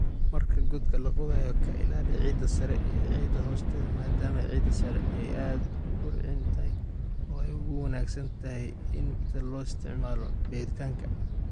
Marka godka la qodayo kala ilaali ciidda sare iyo ciidda hoosteeda maadaama ciidda sare ay aad u bacrin tahay oo ay ugu wanaagsan tahay in tan loo isticmaalo beeritaanka.